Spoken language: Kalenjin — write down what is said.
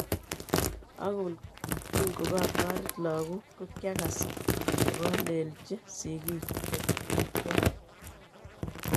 Angot kingokataret lakok kokiakas kokalelnji sigik chwak.